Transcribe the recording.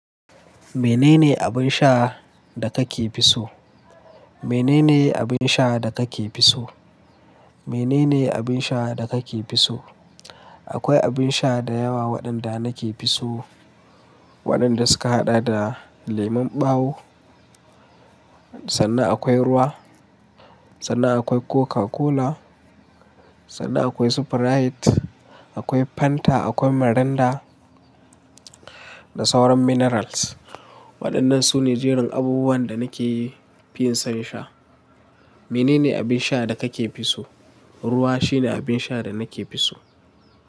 Menene abin sha, da kake fi so? Menene abin sha da kake fi so? Menene abin sha da kake fi so? Akwai abin sha da yawa waɗanda nake so. Waɗanda suka haɗa da lemon ɓawo, sannan akwai ruwa, sannan akwai Coca-Cola, sannan akwai Sprite, akwai Fanta, akwai Mirinda da sauran minerals. Waɗannan su ne jerin abubuwan da nake fi son sha. Menene abin sha da kake fi so? Ruwa shine abin sha da nake fi so.